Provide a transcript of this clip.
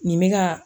Nin bɛ ka